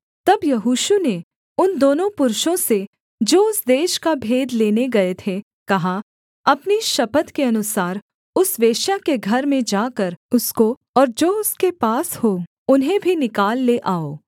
तब यहोशू ने उन दोनों पुरुषों से जो उस देश का भेद लेने गए थे कहा अपनी शपथ के अनुसार उस वेश्या के घर में जाकर उसको और जो उसके पास हों उन्हें भी निकाल ले आओ